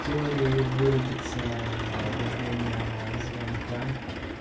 теории вырубится во время звонка